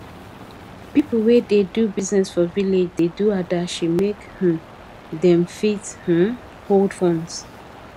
pipu wey da do business for village da do adashi make um dem fit um hold funds